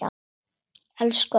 Elsku Adda, mamma.